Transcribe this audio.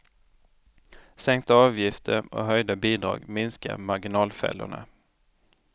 Sänkta avgifter och höjda bidrag minskar marginalfällorna.